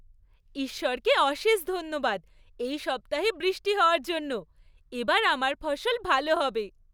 ঈশ্বরকে অশেষ ধন্যবাদ এই সপ্তাহে বৃষ্টি হওয়ার জন্য। এবার আমার ফসল ভালো হবে।